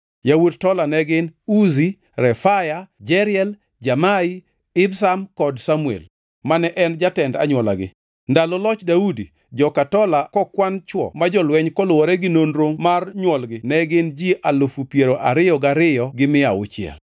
Yawuot Tola ne gin: Uzi, Refaya, Jeriel, Jamai, Ibsam kod Samuel, mane en jotend anywolagi. Ndalo loch Daudi, joka Tola kokwan chwo ma jolweny koluwore gi nonro mar nywolgi ne gin ji alufu piero ariyo gariyo gi mia auchiel (22,600).